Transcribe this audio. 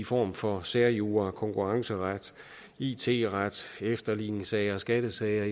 former for særjura konkurrenceret it ret efterligningssager skattesager